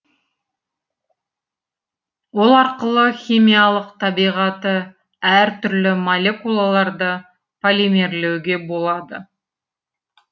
ол арқылы химиялық табиғаты әр түрлі молекулаларды полимерлеуге болады